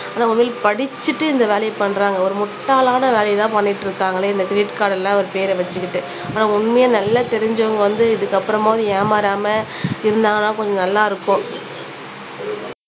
ஆனா உண்மையிலே படிச்சுட்டு இந்த வேலையை பண்றாங்க ஒரு முட்டாளான வேலையைத்தான் பண்ணிட்டு இருக்காங்களே இந்த கிரெடிட் கார்ட்ல அவர் பேரை வச்சுக்கிட்டு ஆனா உண்மையா நல்லா தெரிஞ்சவங்க வந்து இதுக்கு அப்புறமாவது ஏமாறாம இருந்தாங்கன்னா கொஞ்சம் நல்லா இருக்கும்